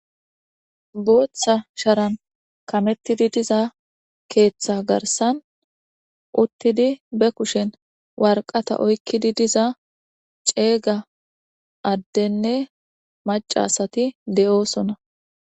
booththa sharan kamettidi diza keeththa garsan uttidi be kushen warqata oykkidi diza ceega addenne macasati de7oosona